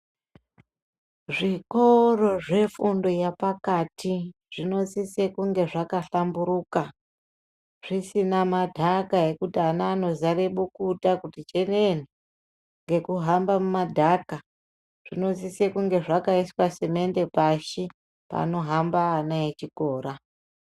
Zvikoro zvefundo yapakati zvinosise kunge zvakahlamburuka zvisina madhaka ekuti ana anozare bukuta kuti chenene ngekuhambe mumadhaka, zvinosise kunge zvakaiswa simende pashi panohamba ana echikora.